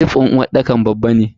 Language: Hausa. Sif din uwarɗakar babba ne.